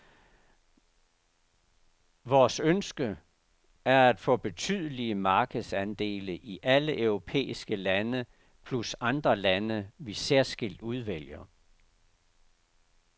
Vores ønske er at få betydelige markedsandele i alle europæiske lande plus andre lande, vi særskilt udvælger.